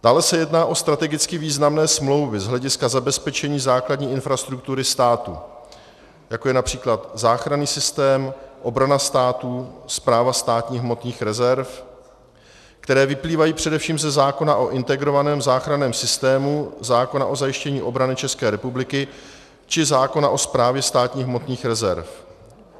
Dále se jedná o strategicky významné smlouvy z hlediska zabezpečení základní infrastruktury státu, jako je například záchranný systém, obrana státu, Správa státních hmotných rezerv, které vyplývají především ze zákona o integrovaném záchranném systému, zákona o zajištění obrany České republiky či zákona o Správě státních hmotných rezerv.